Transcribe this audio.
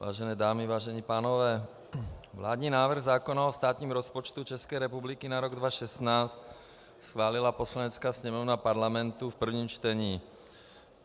Vážené dámy, vážení pánové, vládní návrh zákona o státním rozpočtu České republiky na rok 2016 schválila Poslanecká sněmovna Parlamentu v prvním čtení.